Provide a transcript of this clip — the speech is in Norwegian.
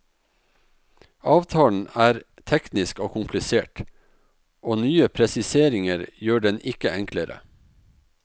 Avtalen er teknisk og komplisert, og nye presiseringer gjør den ikke enklere.